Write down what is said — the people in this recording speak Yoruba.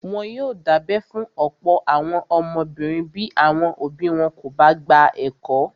Wọ́n yóò dábẹ́ fún ọ̀pọ̀ àwọn ọmọbìnrin bí àwọn òbí wọn kò bá gba ẹ̀kọ́.